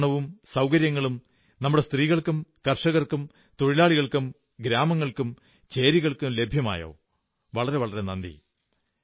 ശാക്തീകരണവും സൌകര്യങ്ങളും നമ്മുടെ സ്ത്രീകൾക്കും കർഷകർക്കും തൊഴിലാളികൾക്കും ഗ്രാമങ്ങൾക്കും ചേരികൾക്കും ലഭ്യമായോ നന്ദി